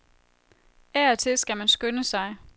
Af og til skal man skynde sig.